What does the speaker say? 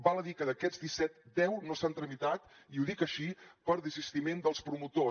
val a dir que d’aquests disset deu no s’han tramitat i ho dic així per desistiment dels promotors